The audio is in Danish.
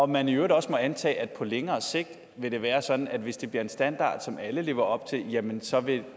man i øvrigt også må antage at det på længere sigt vil være sådan at hvis det bliver en standard som alle lever op til jamen så vil